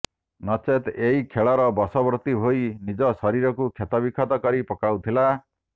ନଚେତ୍ ଏହି ଖେଳର ବଶବର୍ତ୍ତୀ ହୋଇ ନିଜ ଶରୀରକୁ କ୍ଷତବିକ୍ଷତ କରି ପକାଉଥିଲା